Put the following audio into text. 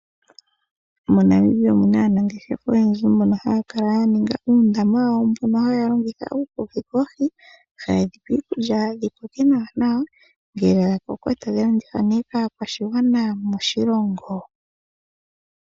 MoNamibia omuna aanangeshefa oyendji mboka haya kala ya ninga uundama wawo mboka haya longitha okukokitha oohi, haye dhipa iikulya dhi koke nawa nawa ngele dhakoko tadhi landithwa ne kaa kwashigwana moshilongo.